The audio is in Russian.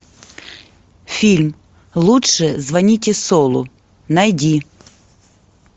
фильм лучше звоните солу найди